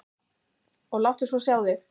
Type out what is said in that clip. Og láttu svo sjá þig.